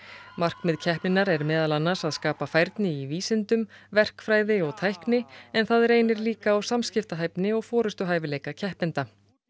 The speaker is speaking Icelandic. markmið keppninnar er meðal annars að skapa færni í vísindum verkfræði og tækni en það reynir líka á samskiptahæfni og forystuhæfileika keppenda